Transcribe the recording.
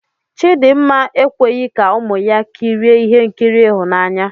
Chidinma ekweghị ka ụmụ ya kirie ihe nkiri ịhụnanya.